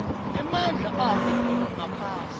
emandla akhe ngaphasi